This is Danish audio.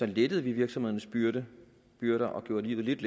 lettede vi virksomhedernes byrder byrder og gjorde livet